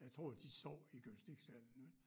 Jeg tror de sov i gymnastiksalene